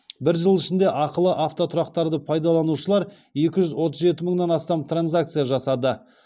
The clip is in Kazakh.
бір жыл ішінде ақылы автотұрақтарды пайдаланушылар екі жүз отыз жеті мыңнан астам транзакция жасады